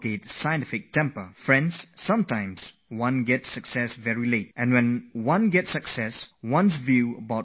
Friends, sometimes success comes very late and when it does come to us, our way of looking at life changes completely